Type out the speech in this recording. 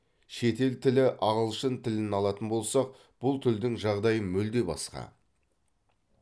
шетел тілі ағылшын тілін алатын болсақ бұл тілдің жағдайы мүлде басқа